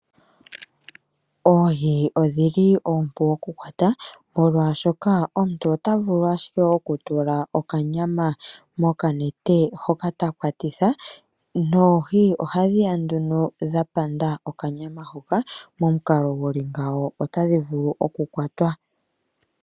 Oohi odhili oompu okukwata ,molwaashoka omuntu otavulu ashike oku tula okanyama mokanete hoka takwatitha noohi ohadhiya nduno dha panda okanyama hoka, momukalo guli ngawo otadhivulu oku kwatwa.